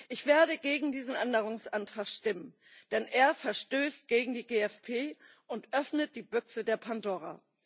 Ich werde gegen diesen Änderungsantrag stimmen, denn er verstößt gegen die GFP und öffnet die Büchse der Pandora.